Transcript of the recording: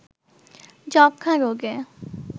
যক্ষ্মা রোগে